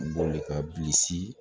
Boli ka bilisi